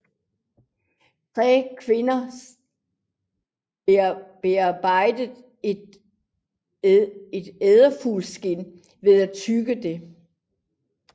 Yngre kvinder bearbejder et edefugleskind ved at tygge det